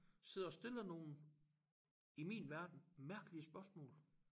Sidder og stiller nogle i min verden mærkelige spørgsmål